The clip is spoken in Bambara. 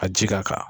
A ji ka kan